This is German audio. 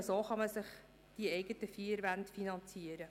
Nur so kann man die eigenen vier Wände finanzieren.